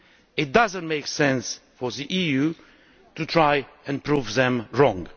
It does not make sense for the EU to try to prove them wrong.